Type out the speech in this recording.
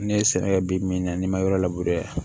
Ne ye sɛnɛ kɛ bi min na n'i ma yɔrɔ labur